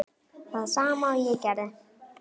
Það sama og ég gerði.